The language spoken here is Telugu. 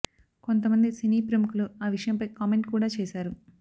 కొంత మంది సినీ ప్రముఖులు ఆ విషయంపై కామెంట్ కూడా చేశారు